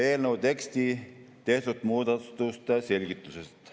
Eelnõu tekstis tehtud muudatuste selgitused.